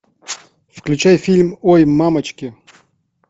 включай фильм ой мамочки